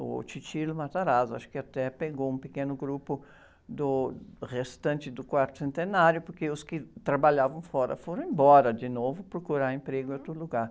O, acho que até pegou um pequeno grupo do restante do quarto centenário, porque os que trabalhavam fora foram embora de novo procurar emprego em outro lugar.